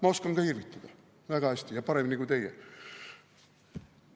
Ma oskan ka irvitada, väga hästi, ja paremini kui teie.